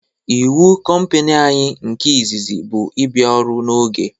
Ịwu compani anyị nke izizi bụ ị bịa ọrụ n'oge